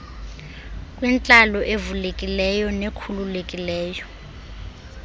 kwintlalo evulekileyo nekhululekileyo